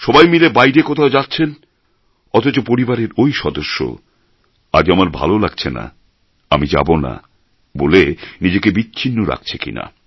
সবাই মিলে বাইরে কোথাও যাচ্ছেন অথচ পরিবারের ঐ সদস্য আজ আমার ভালো লাগছে না আমি যাবো না বলে নিজেকে বিচ্ছিন্ন রাখছে কিনা